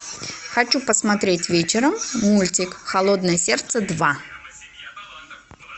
хочу посмотреть вечером мультик холодное сердце два